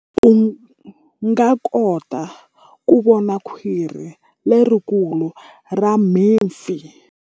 U nga kota ku vona khwiri lerikulu ra mipfi.